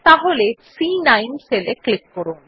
তাহলে C nine cell এ click করুন